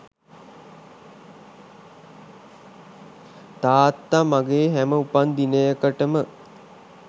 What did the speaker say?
තාත්තා මගේ හැම උපන් දිනයකටම